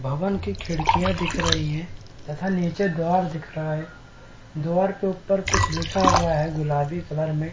भवन की खिड़कियां दिख रही है तथा नीचे द्वार दिख रहा है द्वार के ऊपर कुछ लिखा हुआ है गुलाबी कलर में।